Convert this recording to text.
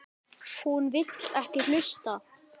Hún vill ekki hlusta.